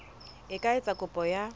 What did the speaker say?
e ka etsa kopo ya